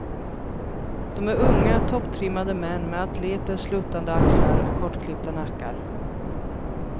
De är unga, topptrimmade män med atleters sluttande axlar och kortklippta nackar.